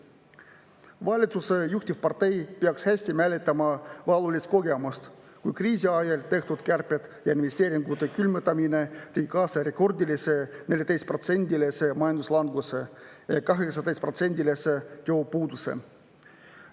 Valitsuse juhtivpartei peaks hästi mäletama valulist kogemust, kui kriisi ajal tehtud kärped ja investeeringute külmutamine tõi kaasa rekordilise 14%-lise majanduslanguse ja 18%-lise tööpuuduse.